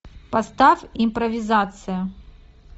поставь импровизация